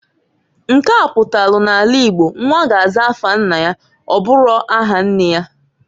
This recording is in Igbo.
Nke a kpatalu n'ala Igbo nwa ga-aza afa nna ya, ọbụro aha nne ya.